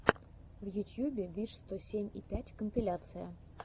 в ютьюбе виш сто семь и пять компиляция